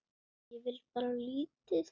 Ég á bara lítið.